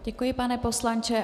Děkuji, pane poslanče.